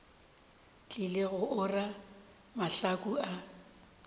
tlile go ora mahlaku a